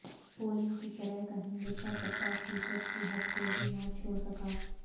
polling کی شرح کا ہندسہ پچاس فیصد کی حد کو بھی نہ چھو سکا